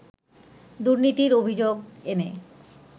দুর্নীতির অভিযোগ এনে